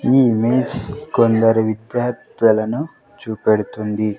ఈ ఇమేజ్ కొందరు విద్యార్దులను చూపెడుతుంది.